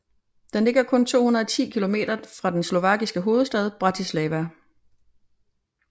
Den ligger kun 210 kilometer fra den slovakiske hovedstad Bratislava